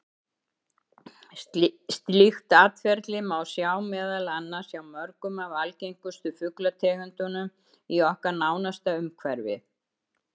Slíkt atferli má sjá meðal annars hjá mörgum af algengustu fuglategundunum í okkar nánasta umhverfi.